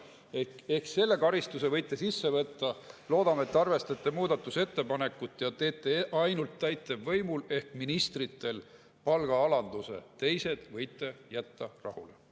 Ehk siis selle karistuse võite sisse võtta, aga loodame, et arvestate muudatusettepanekut ja teete ainult täitevvõimul ehk ministritel palgaalanduse, teised võiksite jätta rahule.